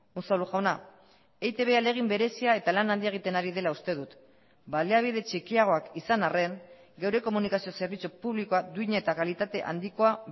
unzalu jauna eitb ahalegin berezia eta lan handia egiten ari dela uste dut baliabide txikiagoak izan arren geure komunikazio zerbitzu publikoa duin eta kalitate handikoa